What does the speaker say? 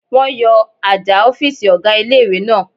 Wọ́n yọ àjà ọ̀fìsì ọ̀gá ilé-ìwé náà